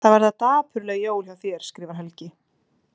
Það verða dapurleg jól hjá þér skrifar Helgi.